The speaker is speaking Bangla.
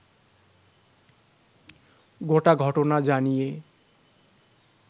গোটা ঘটনা জানিয়ে